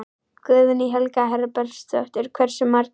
Guðný Helga Herbertsdóttir: Hversu margir?